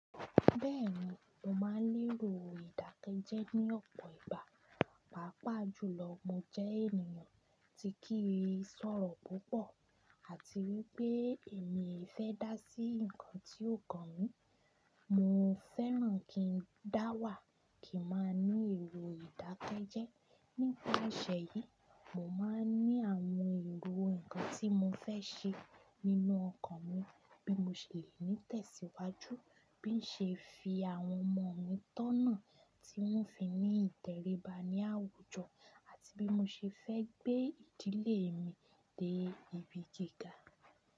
Bẹ́ẹ̀ni, mo máa ń lérò ìdákẹ́jẹ́ ní ọ̀pọ̀ ìgbà, pàápàá jùlọ mo jẹ́ ènìyàn tí kì í sọ̀rọ̀ púpọ̀ àti wípé èmi i fẹ́ dá sí nǹkan tí ó kan mí. Mo fẹ́ràn kí n dáwà kí n máa ní èrò ìdákẹ́jẹ́. Nítorí iṣẹ́ yìí, mo máa ń ní àwọn èrò nǹkan tí mo fẹ́ ṣe nínú ọkàn mi bí mo ṣe lè ní tẹ̀síwájú, bí ṣe fi àwọn ọmọ mi tọ̀nà tí wọ́n fi ní ìtẹríba ní àwùjọ àti bí mo ṣe fẹ́ gbé ìdílé mi dé ibi gíga.